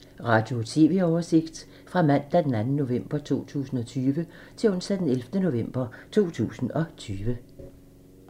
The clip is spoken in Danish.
Radio/TV oversigt fra mandag d. 2. november 2020 til onsdag d. 11. november 2020